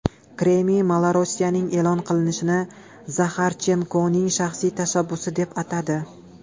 Kreml Malorossiyaning e’lon qilinishini Zaxarchenkoning shaxsiy tashabbusi deb atadi.